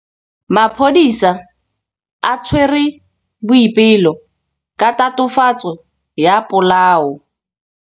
Maphodisa a tshwere Boipelo ka tatofatsô ya polaô.